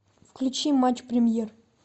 включи матч премьер